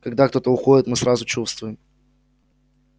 когда кто-то уходит мы сразу чувствуем